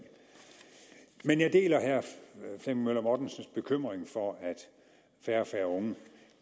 men jeg deler herre flemming møller mortensens bekymring for at færre og færre unge